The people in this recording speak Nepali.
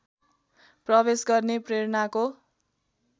प्रवेश गर्ने प्रेरणाको